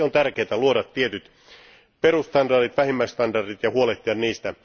Sen vuoksi on tärkeää luoda tietyt perusstandardit, vähimmäisstandardit ja huolehtia niistä.